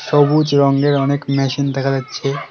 সবুজ রঙের অনেক মেশিন দেখা যাচ্ছে।